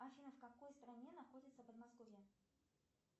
афина в какой стране находится подмосковье